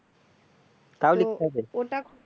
তাও লিখতে হবে